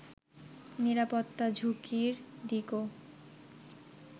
নিরাপত্তা ঝুঁকির দিকও